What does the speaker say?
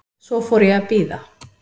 Svo fór ég að bíða.